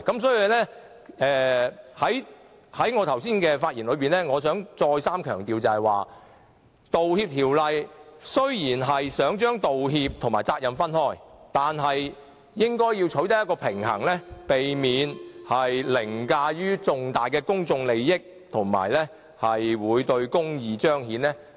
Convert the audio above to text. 所以，在我剛才的發言中，我想再三強調，雖然《條例草案》想將道歉和責任分開，但應該要取得平衡，避免凌駕重大的公眾利益，以及損害公義的彰顯。